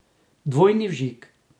Dvojni vžig.